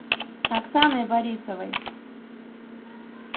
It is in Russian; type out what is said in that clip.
оксаной борисовой